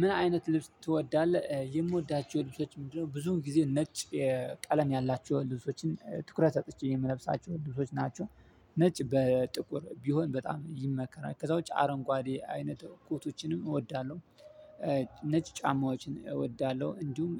ምን አይነት ልብስ ትወዳለህ የምወዳቸው ልብሶች ምንድነው? ብዙውን ጊዜ ነጭ ቀለም ያላቸው ልብሶችን ትኩረት ሰጥቼ የምለብሳቸው ልብሶች ናቸው። ነጭ በጥቁር ቢሆን በጣም ይመከራል ከዛ ውጪ አረንጓዴ አይነት ኮቶችንም እወዳለሁ። ነጭ ጫማዎችን እወዳለሁ። እንዲሁም